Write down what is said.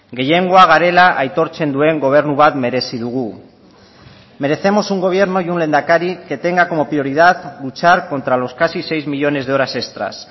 gehiengoa garela aitortzen duen gobernu bat merezi dugu merecemos un gobierno y un lehendakari que tenga como prioridad luchar contra los casi seis millónes de horas extras